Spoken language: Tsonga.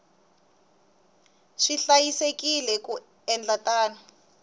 swi hlayisekile ku endla tano